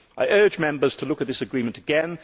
I urge Members to look at this agreement again.